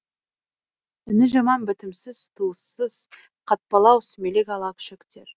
үні жаман бітімсіз туыссыз қатпалау сүмелек ала күшіктер